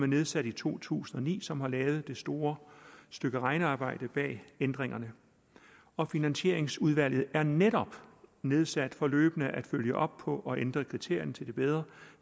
nedsat i to tusind og ni som har lavet det store stykke regnearbejde bag ændringerne og finansieringsudvalget er netop nedsat for løbende at følge op på og ændre kriterierne til det bedre